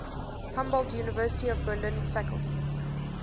humboldt university of berlin faculty